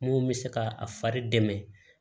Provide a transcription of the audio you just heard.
Mun bɛ se ka a fari dɛmɛ